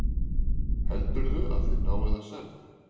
Heldurðu að þið náið að semja?